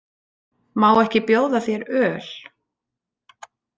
Má ekki bjóða þér öl?